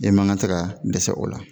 E man ka se ka dɛsɛ o la